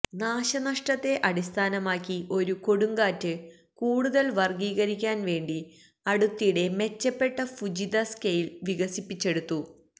നാശനഷ്ടത്തെ അടിസ്ഥാനമാക്കി ഒരു കൊടുങ്കാറ്റ് കൂടുതൽ വർഗ്ഗീകരിക്കാൻ വേണ്ടി അടുത്തിടെ മെച്ചപ്പെട്ട ഫുജിത സ്കെയിൽ വികസിപ്പിച്ചെടുത്തു